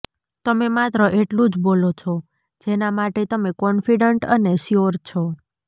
તમે માત્ર એટલું જ બોલો છો જેના માટે તમે કોન્ફિડન્ટ અને શ્યોર છો